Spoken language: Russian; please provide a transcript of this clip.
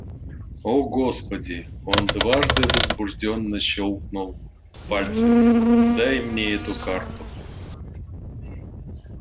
о господи он дважды возбуждённо щёлкнул пальцами дай мне эту карту